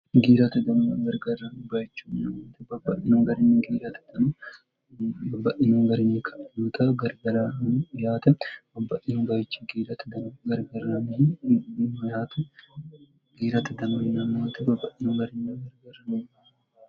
giirati dmu gargarra bbbayichmote babba'inuhungarinyi giirati tno babba'inohungarinyi kanuta garbelani yaate babba'inu gayichi giirati dno garbernih minate giirati tmoinnmoti babba'inoungarinya gargarano